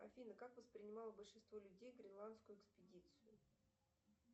афина как воспринимало большинство людей гренландскую экспедицию